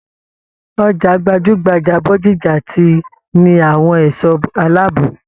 Ọjà gbajugbaja Bódìjà ti ní àwọn ẹṣọ aláàbò.